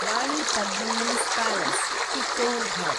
Rani Padmini's palace (Chittorgarh)